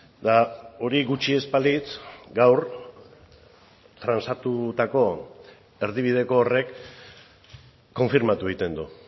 eta hori gutxi ez balitz gaur transatutako erdibideko horrek konfirmatu egiten du